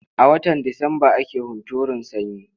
A watan Disamba ake hunturun sanyi.